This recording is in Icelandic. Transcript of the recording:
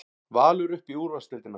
Valur upp í úrvalsdeildina